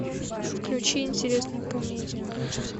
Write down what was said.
включи интересную комедию